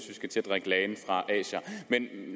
vi skal til at drikke lagen fra asier